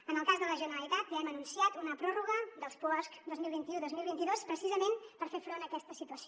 en el cas de la generalitat ja hem anunciat una pròrroga dels puosc dos mil vint u dos mil vint dos precisament per fer front a aquesta situació